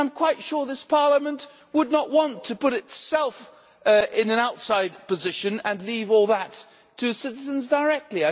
I am quite sure this Parliament would not want to put itself in an outside position and leave all that to citizens directly.